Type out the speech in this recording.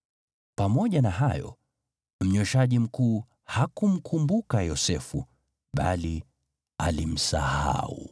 Pamoja na hayo, mnyweshaji mkuu hakumkumbuka Yosefu, bali alimsahau.